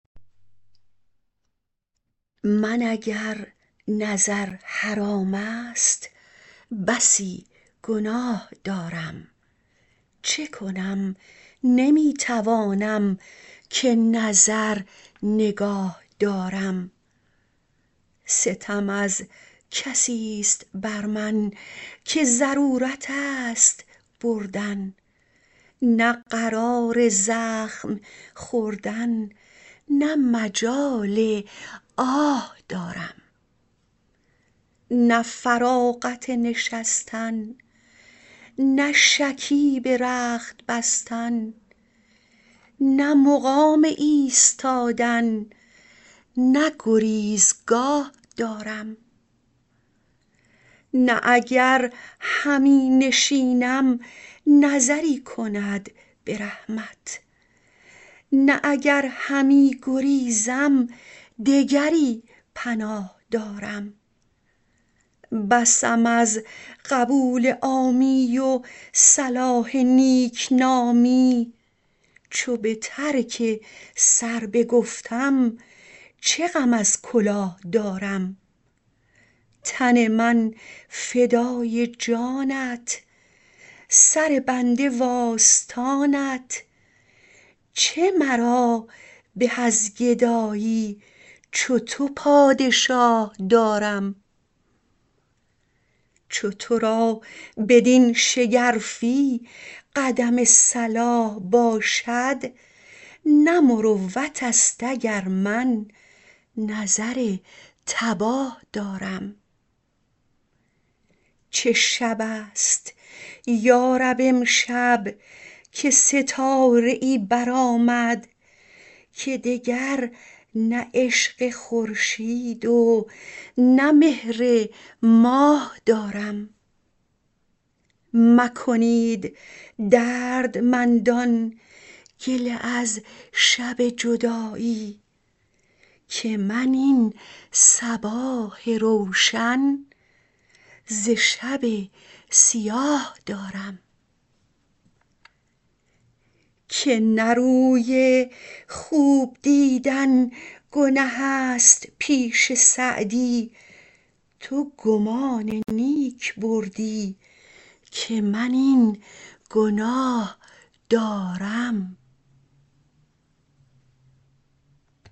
من اگر نظر حرام است بسی گناه دارم چه کنم نمی توانم که نظر نگاه دارم ستم از کسیست بر من که ضرورت است بردن نه قرار زخم خوردن نه مجال آه دارم نه فراغت نشستن نه شکیب رخت بستن نه مقام ایستادن نه گریزگاه دارم نه اگر همی نشینم نظری کند به رحمت نه اگر همی گریزم دگری پناه دارم بسم از قبول عامی و صلاح نیکنامی چو به ترک سر بگفتم چه غم از کلاه دارم تن من فدای جانت سر بنده وآستانت چه مرا به از گدایی چو تو پادشاه دارم چو تو را بدین شگرفی قدم صلاح باشد نه مروت است اگر من نظر تباه دارم چه شب است یا رب امشب که ستاره ای برآمد که دگر نه عشق خورشید و نه مهر ماه دارم مکنید دردمندان گله از شب جدایی که من این صباح روشن ز شب سیاه دارم که نه روی خوب دیدن گنه است پیش سعدی تو گمان نیک بردی که من این گناه دارم